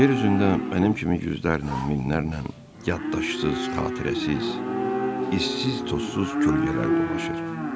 Yer üzündə mənim kimi yüzlərlə, minlərlə yaddaşsız, xatirəsiz, issiz-tozsuz kölgələr dolaşır.